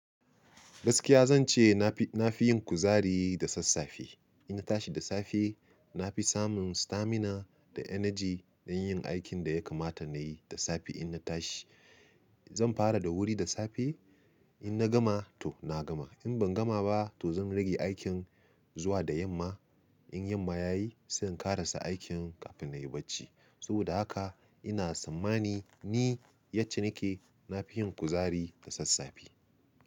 Gaskiya zan ce na fi, na fi yin kuzari da sassafe. Inna tashi da safe, na fi samun stamina da energy don yin aikin da ya kamata na yi da safe inna tashi. Zan fara da wuri da safe, in na gama to na gama, in ban gama ba to zan rage aikin zuwa da yamma. In yamma ya yi sai in ƙarasa aikin kafin na yi bacci. Saboda haka ina tsammani ni yacce nake nafi yin kuzari da sassafe.